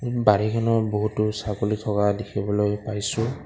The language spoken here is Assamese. ইন বাৰীখনৰ বহুতো ছাগলী থকা দেখিবলৈ পাইছোঁ।